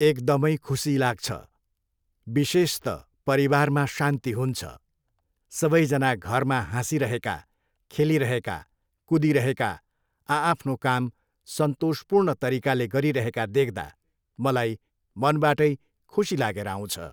एकदमै खुसी लाग्छ। विशेष त परिवारमा शान्ति हुन्छ। सबैजना घरमा हाँसिरहेका, खेलिरहेका, कुदिरहेका आआफ्नो काम सन्तोषपूर्ण तरिकाले गरिरहेका देख्दा मलाई मनबाटै खुसी लागेर आउँछ।